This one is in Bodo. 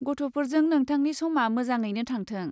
गथ'फोरजों नोंथांनि समा मोजाङैनो थांथों।